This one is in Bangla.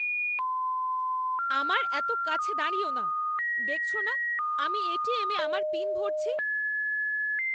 আমার এত কাছে দাঁড়িয়ো না! দেখছো না আমি এটিএম এ আমার পিন ভরছি?